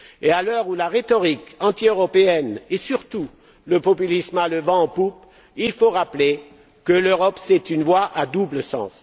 À l'heure où la rhétorique antieuropéenne et surtout le populisme a le vent en poupe, il faut rappeler que l'Europe est une voie à double sens.